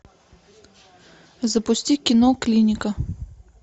запусти кино клиника